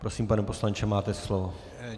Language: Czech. Prosím, pane poslanče, máte slovo.